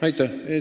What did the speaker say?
Aitäh!